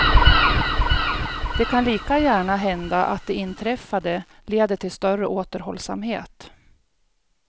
Det kan lika gärna hända att det inträffade leder till större återhållsamhet.